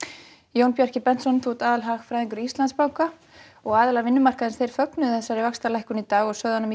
Jón Bjarki aðalhagfræðingur Íslandsbanka aðilar vinnumarkaðarins fögnuðu þessari vaxtalækkun í dag sögðu hana